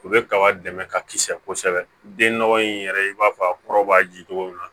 U bɛ kaba dɛmɛ ka kisɛ den nɔgɔ in yɛrɛ i b'a fɔ a kɔrɔ b'a ji cogo min na